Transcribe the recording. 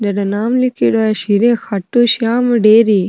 जठ नाम लीखेड़ो है श्री राम खाटूश्याम डेयरी।